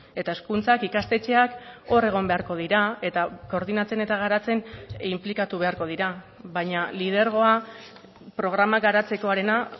eta hezkuntzak ikastetxeak hor egon beharko dira eta koordinatzen eta garatzen inplikatu beharko dira baina lidergoa programak garatzekoarena